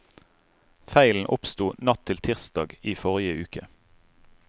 Feilen oppsto natt til tirsdag i forrige uke.